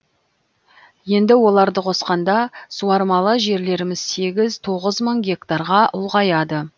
енді оларды қосқанда суармалы жерлеріміз сегіз тоғыз мың гектарға ұлғаяды